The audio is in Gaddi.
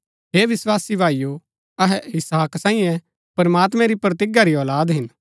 हे विस्वासी भाईओ अहै इसहाक सांईये प्रमात्मैं री प्रतिज्ञा री औलाद हिन